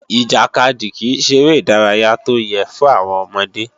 Ìjàkadì kìí ṣeré ìdárayá tó yẹ́ fún àwọn ọmọdé